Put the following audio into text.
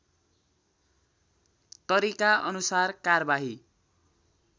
तरिका अनुसार कारबाही